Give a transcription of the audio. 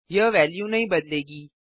यह वेल्यू नहीं बदलेगी